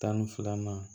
Tan ni fila ma